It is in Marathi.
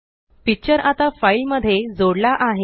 पिक्चर आता फाइल मध्ये जोडला आहे